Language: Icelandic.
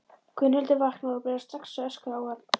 Gunnhildur vaknar og byrjar strax að öskra á hann.